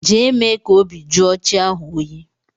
Jee mee ka obi jụọ chi ahu oyi!!